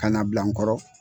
Ka na bila n nkɔrɔ.